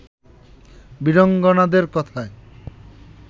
বীরাঙ্গনাদের কথায়